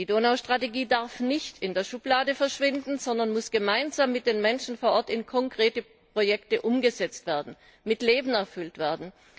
Die Strategie für die Donauregion darf nicht in der Schublade verschwinden, sondern muss gemeinsam mit den Menschen vor Ort in konkreten Projekten umgesetzt werden, mit Leben erfüllt werden.